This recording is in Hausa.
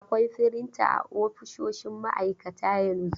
Akwai firinta a ofisoshin maaikata yanzu.